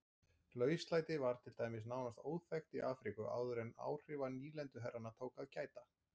Lauslæti var til dæmis nánast óþekkt í Afríku áður en áhrifa nýlenduherrana tók að gæta.